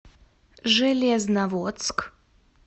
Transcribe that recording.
железноводск